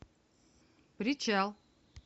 причал